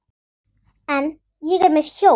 En ég er með hjól.